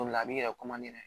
O de la a b'i yɛrɛ